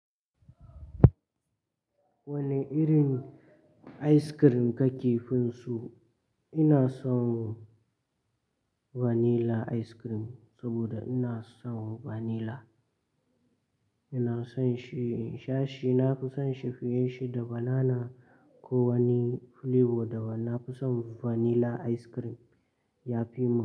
Wane irin ice cream kake fin so? Ina son vanilla ice cream saboda ina son vanilla. Ina son shi, in sha shi nafi son shi fiye shi da banana ko wani flavor daban, nafi son vanilla ice cream yafi min.